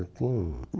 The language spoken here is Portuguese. Não